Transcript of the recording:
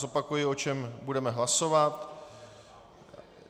Zopakuji, o čem budeme hlasovat.